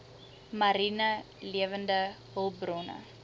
mariene lewende hulpbronne